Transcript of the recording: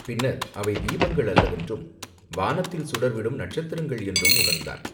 பின்னர், அவை தீபங்கள் அல்லவென்றும் வானத்தில் சுடர்விடும் நட்சத்திரங்கள் என்றும் உணர்ந்தான்.